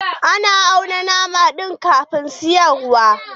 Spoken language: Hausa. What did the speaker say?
An auna nama ɗin kafin siyarwa.